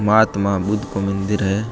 महात्मा बुद्ध को मंदिर है।